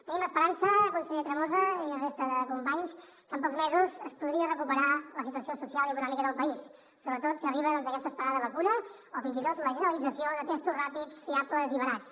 tenim l’esperança conseller tremosa i resta de companys que en pocs mesos es podria recuperar la situació social i econòmica del país sobretot si arriba doncs aquesta esperada vacuna o fins i tot la generalització de testos ràpids fiables i barats